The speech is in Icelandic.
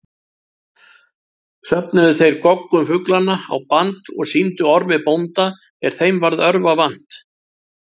Söfnuðu þeir goggum fuglanna á band og sýndu Ormi bónda er þeim varð örva vant.